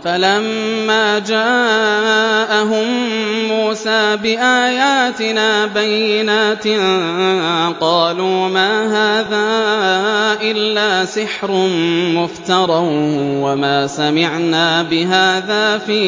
فَلَمَّا جَاءَهُم مُّوسَىٰ بِآيَاتِنَا بَيِّنَاتٍ قَالُوا مَا هَٰذَا إِلَّا سِحْرٌ مُّفْتَرًى وَمَا سَمِعْنَا بِهَٰذَا فِي